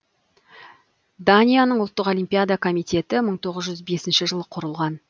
данияның ұлттық олимпиада комитететі мың тоғыз жүз бесінші жылы құрылған